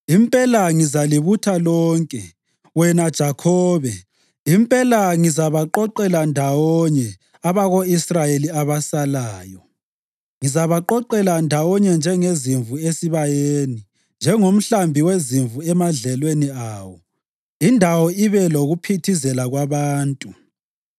“Impela ngizalibutha lonke, wena Jakhobe; impela ngizabaqoqela ndawonye abako-Israyeli abasalayo. Ngizabaqoqela ndawonye njengezimvu esibayeni, njengomhlambi wezimvu emadlelweni awo; indawo ibe lokuphithizela kwabantu.